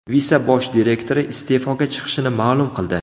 Visa bosh direktori iste’foga chiqishini ma’lum qildi.